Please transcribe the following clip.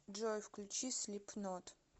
джой включи слипнот